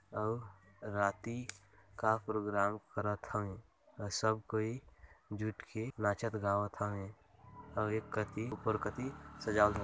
अउ राती का प्रोग्राम करथ हवे अउ सब कोई जुट के नाचत गावत हवे अउ एक कति ऊपर कति सजाल --